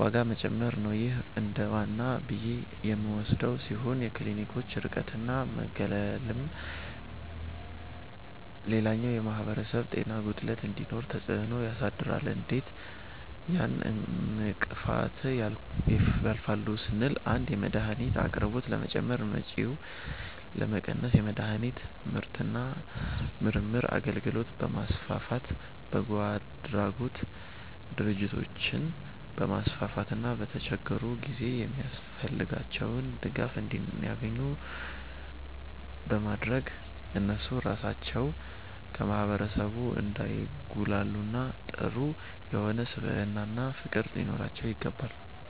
ዋጋ መጨመር ነዉ ይህ እንደዋና ብዬ የምወስደዉ ሲሆን የክሊኒኮች ርቀትና መገለልም ሌላኛዉ የማህበረሰብ ጤና ጉድለት እንዲኖር ተፅእኖ ያሳድራሉ እንዴት ያን እንቅፋት ያልፋሉ ስንል 1)የመድሀኒት አቅርቦት ለመጨመር ወጪን ለመቀነስ የመድሀኒት ምርትና ምርምር አገልግሎትን በማስፋፋት፣ በጎአድራጎት ድርጅቶችን በማስፋፋትና በተቸገሩ ጊዜ የሚያስፈልጋቸዉን ድጋፍ እንዲያኙ ኙ በማድረግ እነሱ ራሳቸዉ ከማህበረሰቡ እንዳይጉላሉና ጥሩ የሆነ ስብዕናና ፍቅር ሊኖራቸዉ ይገባል።